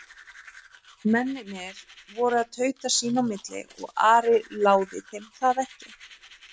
Mennirnir voru að tauta sína á milli og Ari láði þeim það ekki.